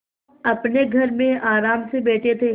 अपने घर में आराम से बैठे थे